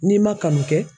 N'i ma kanu kɛ